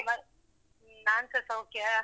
ಮತ್ತ್ ನಾನ್ಸ ಸೌಖ್ಯ.